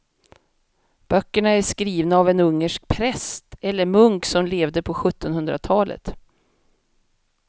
Böckerna är skrivna av en ungersk präst eller munk som levde på sjuttonhundratalet.